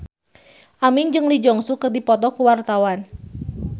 Aming jeung Lee Jeong Suk keur dipoto ku wartawan